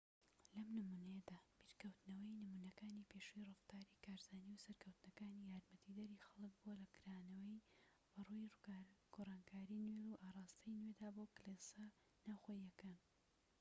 لەم نمونەیەدا بیرکەوتنەوەی نمونەکانی پێشووی ڕەفتاری کارزانی و سەرکەوتنەکانی یارمەتیدەری خەلک بووە لە کرانەوە بەڕووی گۆڕانکاریی نوێ و ئاڕاستەی نوێدا بۆ کلێسە ناوخۆییەکە